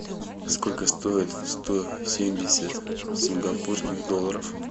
сколько стоит сто семьдесят сингапурских долларов